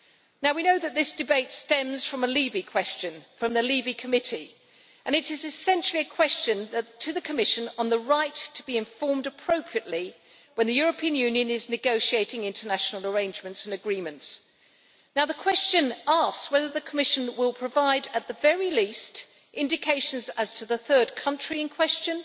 Now we know that this debate stems from a LIBE question, from the LIBE Committee, and it is essentially a question to the Commission on the right to be informed appropriately when the European Union is negotiating international arrangements and agreements. The question asks whether the Commission will provide, at the very least, indications as to the third country in question,